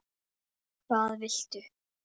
Hvernig litist þér á það?